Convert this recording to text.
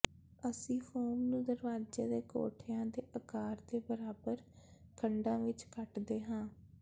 ਅਸੀਂ ਫ਼ੋਮ ਨੂੰ ਦਰਵਾਜ਼ੇ ਦੇ ਕੋਠਿਆਂ ਦੇ ਆਕਾਰ ਦੇ ਬਰਾਬਰ ਖੰਡਾਂ ਵਿੱਚ ਕੱਟਦੇ ਹਾਂ